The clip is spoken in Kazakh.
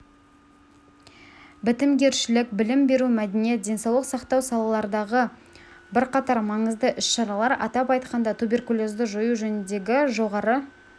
бітімгершілік білім беру мәдениет денсаулық сақтау салалардағы бірқатар маңызды іс-шаралар атап айтқанда туберкулезді жою жөніндегі жоғары